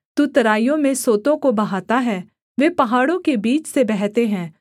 तू तराइयों में सोतों को बहाता है वे पहाड़ों के बीच से बहते हैं